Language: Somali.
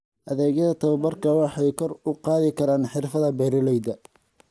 Adeegyada tababarku waxay kor u qaadi karaan xirfadaha beeralayda.